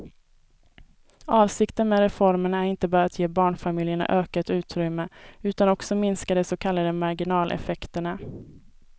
Avsikten med reformen är inte bara att ge barnfamiljerna ökat utrymme utan också minska de så kallade marginaleffekterna.